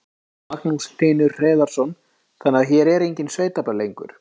Magnús Hlynur Hreiðarsson: Þannig að hér eru engin sveitaböll lengur?